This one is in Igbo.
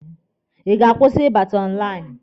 Ị ga-akwụsị ịbata n'ime lainụ?